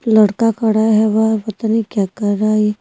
लड़का खड़ा है वह पता नहीं क्या कर रहा है ये--